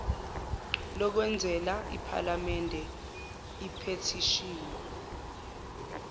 lokwenzela iphalamende iphethishini